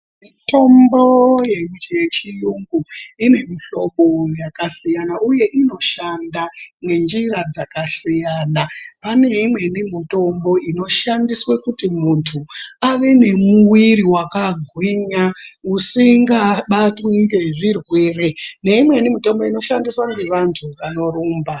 Mitombo yechi yechiyungu uku ine mihlobo Yakasiyana uye inoshanda ngenjira dzakasiyana pane Imweni mitombo inoshandiswe kuti muntu ave nemuwiri wakagwinya usingabatwi ngezvirwere neimweni mitombo inoshandiswa ngevantu vanorumba.